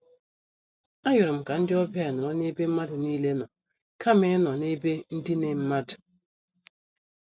A yorom ka ndị ọbịa nọrọ n'ebe mmadụ niile nọ kama ịnọ n' ebe ndine mmadụ.